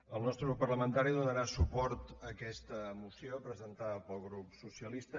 el nostre grup parlamentari donarà suport a aquesta moció presentada pel grup socialista